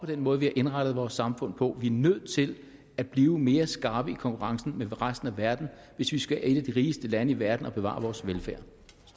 den måde vi har indrettet vores samfund på vi er nødt til at blive mere skarpe i konkurrencen med resten af verden hvis vi skal være et af de rigeste lande i verden og bevare vores velfærd